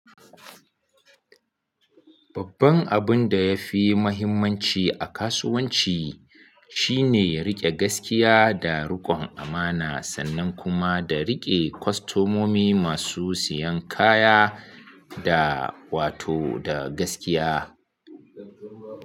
Babban abun da ya fi mahimmanci a kasuwanci shine riƙe gaskiya da riƙon amana sannan kuma da riƙe kwastomomi masu siyan kaya da wato da gaskiya.